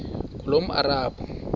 ngulomarabu